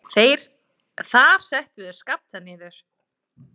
Þar settu þeir Skapta niður.